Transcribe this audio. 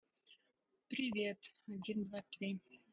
привет один два три